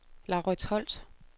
Laurits Holt